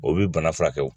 O bi bana furakɛ